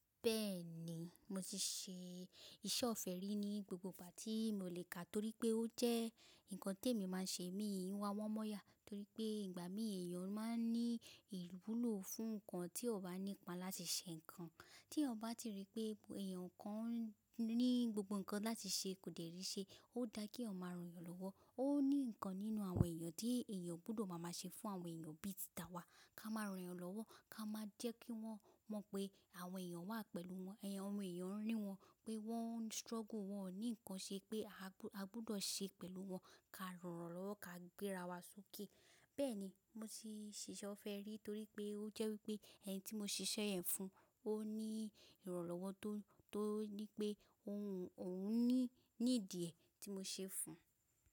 Bẹ́ẹ̀ni, mo ti ṣe iṣẹ́ ọ̀fẹ́ rí ní gbogbo ìgbà tí mo lè kà torí pé ó jẹ́ nǹkan tí èmi máa ń ṣe mi wá wọ́n mọ́yà torí pé ìgbà mí èèyàn máa ń ní ìwúlò fún nǹkan tí ọ̀ bá nípa láti ṣe nǹkan. Tí ọ̀ bá si rí pé èèyàn kan ní gbogbo nǹkan láti ṣe kò dẹ̀rí ṣe, ó dáa kí ọ̀ máa ran èèyàn lọ́wọ́. Ó ní nǹkan nínú àwọn èèyàn tí èèyàn gbọdọ̀ máa ṣe fún àwọn èèyàn bí i títà wa, ká máa ran èèyàn lọ́wọ́, ká máa jẹ́ kí wọ́n mọ̀ pé àwọn èèyàn wà pẹ̀lú wọn, àwọn èèyàn ń rí wọn pé wọ́n struggle wọn ní nǹkan ṣe pé a gbọdọ̀ ṣe pẹ̀lú wọn, ká ran lọ́wọ́, ká gbéra wa sókè. Bẹ́ẹ̀ni, mo ti ṣiṣẹ́ ọ̀fẹ́ rí torí pé ó jẹ́ wípé ẹni tí mo ṣiṣẹ́ yẹn fún ó ní ìrànlọ́wọ́ tó ní pé òun need e tí mo ṣe fún un.